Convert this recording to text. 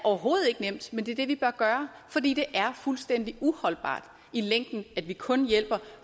overhovedet ikke nemt men det er det vi bør gøre fordi det er fuldstændig uholdbart i længden at vi kun hjælper